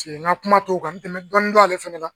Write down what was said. Se nka kuma t'o kan tɛmɛ dɔɔni dɔn ale fana la